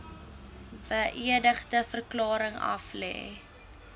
beëdigde verklaring aflê